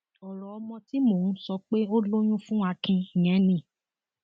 ọrọ ọmọ tí mò ń sọ pé ó lóyún fún akin yẹn ni